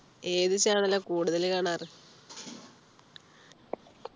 ഏത് channel ആ കൂടുതൽ കാണാറ്